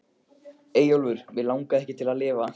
Eyjólfur Mig langaði ekki til að lifa.